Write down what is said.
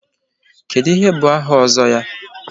Kedụ ihe bụ áhà Ozo ya?